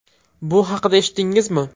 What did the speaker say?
Bu haqida eshitdingizmi?